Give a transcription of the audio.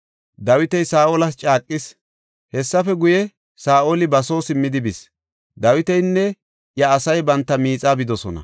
Dawiti Saa7olas caaqis. Hessafe guye, Saa7oli ba soo simmidi bis; Dawitinne iya asay banta miixaa bidosona.